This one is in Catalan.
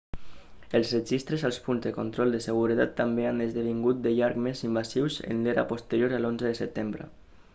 els registres als punts de control de seguretat també han esdevingut de llarg més invasius en l'era posterior a l'11 de setembre